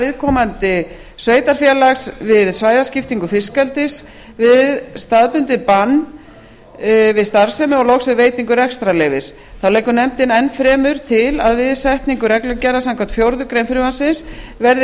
viðkomandi sveitarfélags við svæðaskiptingu fiskeldis við staðbundið bann við starfsemi og loks við veitingu rekstrarleyfis þá leggur nefndin enn fremur til að við setningu reglugerða samkvæmt fjórðu grein frumvarpsins verði